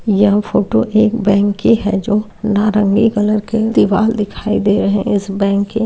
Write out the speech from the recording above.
यह फोटो एक बैंक की है जो नारंगी कलर की दीवार दिखाई दे रही है इस बैंक के --